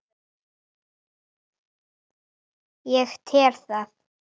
Ég tel það.